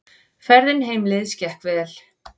Ferðin heimleiðis gekk vel.